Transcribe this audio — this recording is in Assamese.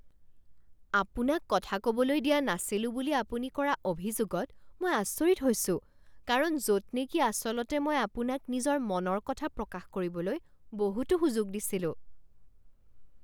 আপোনাক কথা ক'বলৈ দিয়া নাছিলো বুলি আপুনি কৰা অভিযোগত মই আচৰিত হৈছো কাৰণ য'ত নেকি আচলতে মই আপোনাক নিজৰ মনৰ কথা প্ৰকাশ কৰিবলৈ বহুতো সুযোগ দিছিলোঁ।